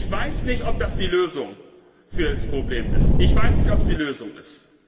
Ich weiß nicht, ob das die Lösung für das Problem ist.